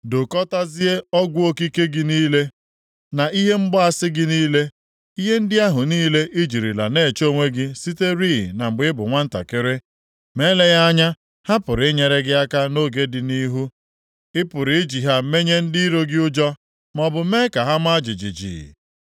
“Dokọtazie ọgwụ okike gị niile, na ihe mgbaasị gị niile. Ihe ndị ahụ niile i jirila na-eche onwe gị siterị na mgbe ị bụ nwantakịrị. Ma eleghị anya ha pụrụ inyere gị aka nʼoge dị nʼihu. Ị pụrụ iji ha menye ndị iro gị ụjọ, maọbụ mee ka ha maa jijiji.